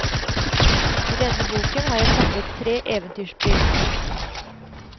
I denne boken har jeg samlet tre eventyrspill.